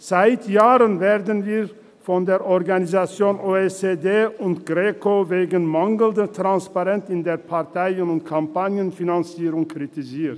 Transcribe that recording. Seit Jahren werden wir von der Organisation for Economic Co-operation and Development (OECD) und der Greco wegen mangelnder Transparenz in der Parteien- und Kampagnenfinanzierung kritisiert.